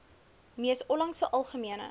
mees onlangse algemene